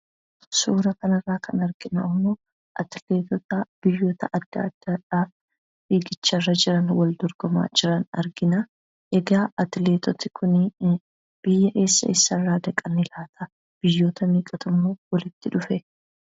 Suura kanarraa kan arginu ammoo atileetota biyyoota adda addaadhaa fiigicharra jiran, wal dorgomaa jiran arginaa. Egaa atileetoti kunii biyya eessa eessarraa dhaqani laata ? Biyyoota meeqatummoo walitti dhufee?